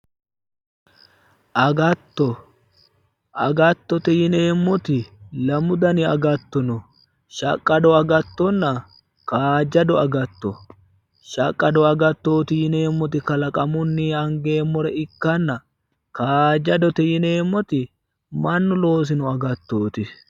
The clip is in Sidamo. Agatto, agattote yinneemmoti lamu dani agatto no, shaqqado agattonna kaajjado agattooti, shaqqado agattooti yinneemmoti kalaqamunni angeemmo agatto ikkanna kaajjadote yinneemmo agatto mannu loosino agattoti